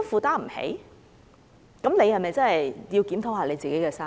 這樣的話，是否該檢討自己的生意？